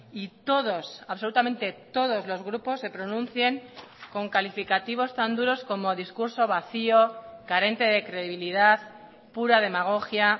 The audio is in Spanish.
y todos absolutamente todos los grupos se pronuncien con calificativos tan duros como discurso vacío carente de credibilidad pura demagogia